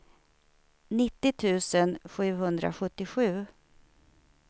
nittio tusen sjuhundrasjuttiosju